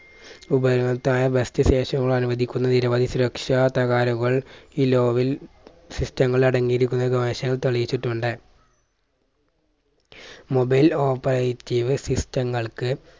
ഉപയവത്തായ best station കൾ അനുവദിക്കുന്ന നിരവധി സുരക്ഷാ തകാരുകൾ ഈ law വിൽ system ങ്ങൾ അടങ്ങിയിരിക്കുന്നു ഗവേഷകർ തെളിയിച്ചിട്ടുണ്ട് mobile operative system ങ്ങൾക്ക്